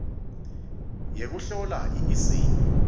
yekuhlola i eseyi